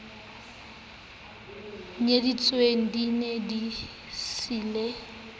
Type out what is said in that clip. nyetsweng di ne di siile